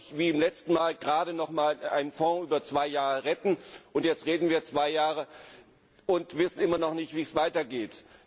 Wir können doch nicht, wie beim letzten Mal, gerade noch einmal einen Fonds über zwei Jahre retten und jetzt reden wir zwei Jahre lang und wissen immer noch nicht, wie es weitergeht.